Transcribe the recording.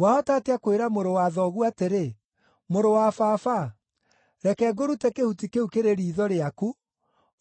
Wahota atĩa kwĩra mũrũ wa thoguo atĩrĩ, ‘Mũrũ wa baba, reke ngũrute kĩhuti kĩu kĩrĩ riitho rĩaku,’